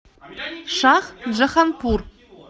шахджаханпур